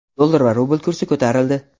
Dollar va rubl kursi ko‘tarildi.